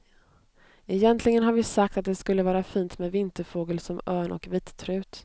Egentligen har vi sagt att det skulle vara fint med vinterfågel som örn och vittrut.